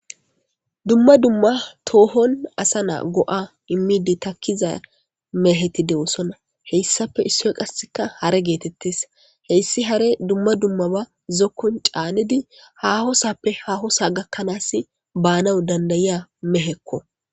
dumma dumma toohon asa naa go7a immiidi takkiza mehetidewosonna heyssafe issoy qasseka hara geetettes heyssi hare dumma dummaba zokkon caanedi hahosappe hahosa gakkanaas baanawu dandayiya mehekko